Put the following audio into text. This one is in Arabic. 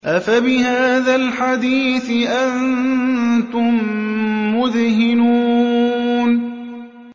أَفَبِهَٰذَا الْحَدِيثِ أَنتُم مُّدْهِنُونَ